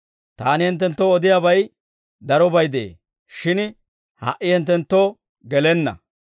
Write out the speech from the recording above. «Taani hinttenttoo odiyaabay darobay de'ee; shin ha"i hinttenttoo gelenna.